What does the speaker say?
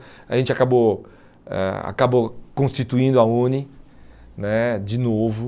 A gente acabou eh acabou constituindo a UNE né de novo.